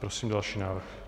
Prosím další návrh.